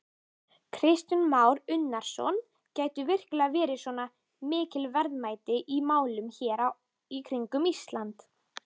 Kristján Már Unnarsson: Gætu virkilega verið svona mikil verðmæti í málmum hér í kringum Ísland?